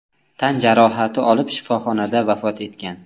tan jarohati olib shifoxonada vafot etgan.